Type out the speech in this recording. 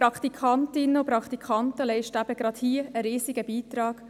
Praktikantinnen und Praktikanten leisten gerade hier einen sehr grossen Beitrag.